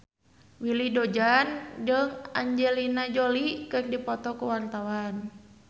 Willy Dozan jeung Angelina Jolie keur dipoto ku wartawan